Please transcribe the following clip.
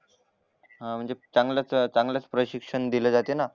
हा म्हणजे चांगलाच प्रशिक्षण दिले जाते ना